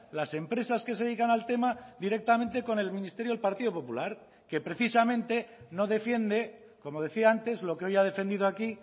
las empresas que se dedican al tema directamente con el ministerio del partido popular que precisamente no defiende como decía antes lo que hoy ha defendido aquí